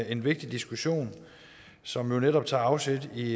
en vigtig diskussion som netop tager afsæt i